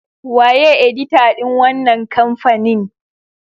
Waye edita din wannan kamfanin?